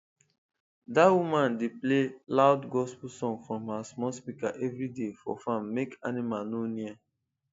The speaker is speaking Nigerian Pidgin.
that woman dey play loud gospel song from her small speaker every day for farm make animal no near